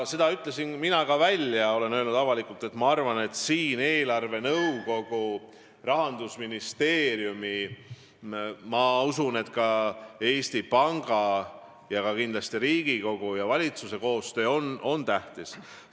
Seda ütlesin ka mina välja, ma olen avalikult öelnud, et minu arvates on siin eelarvenõukogu, Rahandusministeeriumi ning ma usun, et Eesti Panga ja kindlasti ka Riigikogu ja valitsuse koostöö tähtis.